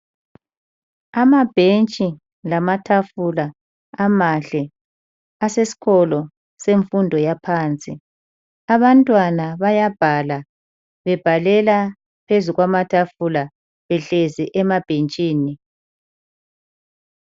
Amabhentshi lamatafula amahle asesikolo semfundo yaphansi. Abantwana bayabhala bebhalela phezu kwamatafula behlezi emabhentshini.